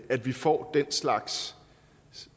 at vi får den slags